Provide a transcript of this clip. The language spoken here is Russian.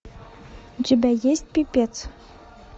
у тебя есть пипец